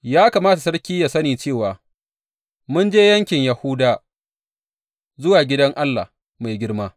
Ya kamata sarki yă sani cewa mun je yankin Yahuda, zuwa gidan Allah mai girma.